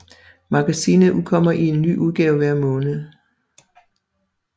Magasinet udkommer i en ny udgave hver måned